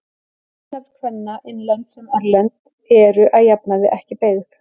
Ættarnöfn kvenna, innlend sem erlend, eru að jafnaði ekki beygð.